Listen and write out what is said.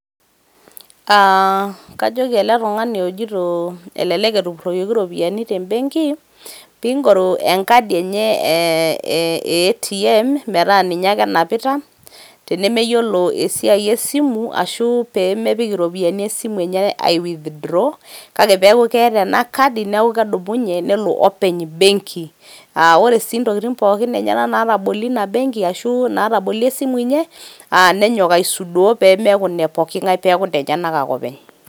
Aa kajoki ele tungani ojito elelek etupuroyioki iropiyiani te Benki pingoru enkadi enye ee e ATM metaa ninye ake enapita teneyiolo esiai esimu ashu pemepik iropiyiani esimu enye ai withdraw kake peaku keeta ena kadi nelo openy benki. aa ore sii ntokitin enyenak natabolie ina benki ashu natabolie esimu enye nenyok aisudoo pemeaku ine pooki ngae peku inenyenak ake openy